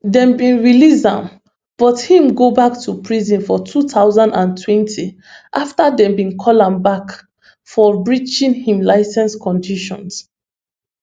dem bin release am but im go back to prison for two thousand and twenty afta dem call am back for breaching im licence conditions